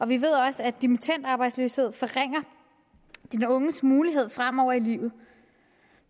vi ved også at dimittendarbejdsløshed forringer den unges mulighed fremover i livet